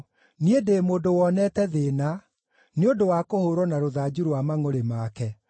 Niĩ ndĩ mũndũ wonete thĩĩna nĩ ũndũ wa kũhũũrwo na rũthanju rwa mangʼũrĩ make.